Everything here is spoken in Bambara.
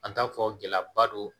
An t'a fɔ gɛlɛyaba don